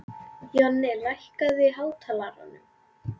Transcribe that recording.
Jonni, lækkaðu í hátalaranum.